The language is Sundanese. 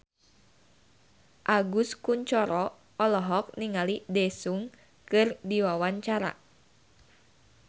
Agus Kuncoro olohok ningali Daesung keur diwawancara